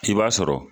I b'a sɔrɔ